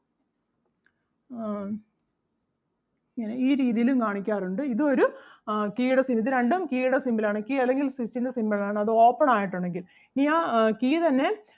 ഇങ്ങനെ ഈ രീതിയിലും കാണിക്കാറുണ്ട് ഇതും ഒരു ആഹ് key ടെ symbol ഇത് രണ്ടും key ടെ symbol ആണ് key അല്ലെങ്കിൽ switch ൻ്റെ symbol ആണ് അത് open ആയിട്ട് ഒണ്ടെങ്കിൽ ഇനി ആ key തന്നെ